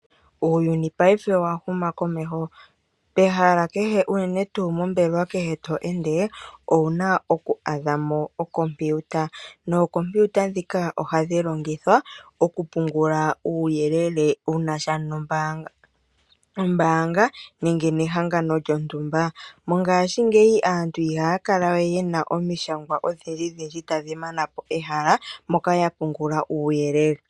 Uuyuni paife owahuma komeho pehala kehe unene tuu moombelewa kehe to ende ouna oku adhamo okompiuta. Nookompiuta ndhika ohadhi longithwa okupungula uuyelele wunasha nombaanga nenge nehangano lyontumba. mongashingeya aantu ihaya kala we yena omishangwa odhindji dhindji tadhi manapo ehala moka ya pungula uuyelele.